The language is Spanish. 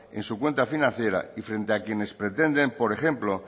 en su cuenta financiera y frente a quienes pretender por ejemplo